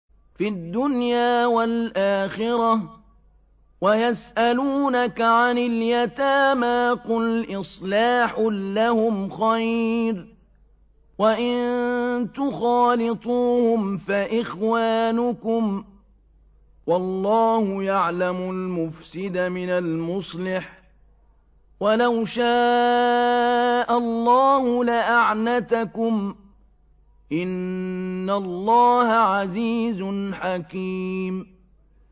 فِي الدُّنْيَا وَالْآخِرَةِ ۗ وَيَسْأَلُونَكَ عَنِ الْيَتَامَىٰ ۖ قُلْ إِصْلَاحٌ لَّهُمْ خَيْرٌ ۖ وَإِن تُخَالِطُوهُمْ فَإِخْوَانُكُمْ ۚ وَاللَّهُ يَعْلَمُ الْمُفْسِدَ مِنَ الْمُصْلِحِ ۚ وَلَوْ شَاءَ اللَّهُ لَأَعْنَتَكُمْ ۚ إِنَّ اللَّهَ عَزِيزٌ حَكِيمٌ